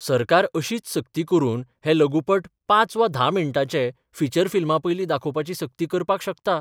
सरकार अशीच सक्ती करून हे लघुपट पांच वा धा मिण्टांचे फीचर फिल्मापयलीं दाखोवपाची सक्ती करपाक शकता.